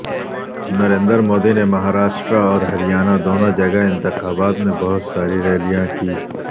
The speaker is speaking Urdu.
نریندر مودی نے مہاراشٹر اور ہریانہ دونوں جگہ انتخابات میں بہت ساری ریلیاں کیں